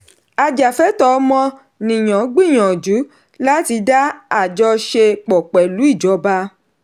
ajafẹtọ ọmọnìyàn gbìyànjú láti dá àjọṣe pọ̀ pẹ̀lú ìjọba.